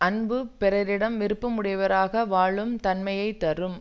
அன்பு பிறரிடம் விருப்பம் உடையவராக வாழும் தன்மையை தரும்